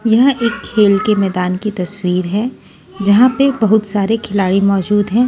यह एक खेल के मैदान की तस्वीर है जहां पे बहुत सारे खिलाड़ी मौजूद हैं।